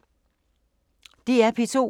DR P2